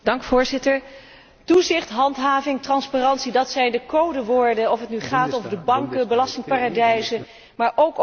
Toezichthandhaving, transparantie, dat zijn de codewoorden, of het nu gaat over de banken, belastingparadijzen, of ook over de energiemarkt.